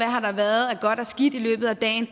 har været af godt og skidt i løbet af dagen